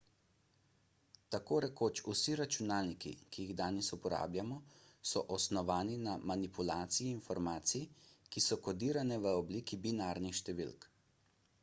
tako rekoč vsi računalniki ki jih danes uporabljamo so osnovani na manipulaciji informacij ki so kodirane v obliki binarnih številk